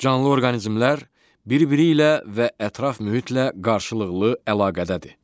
Canlı orqanizmlər bir-biri ilə və ətraf mühitlə qarşılıqlı əlaqədədir.